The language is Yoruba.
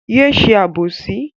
Yé ṣe àbòsí!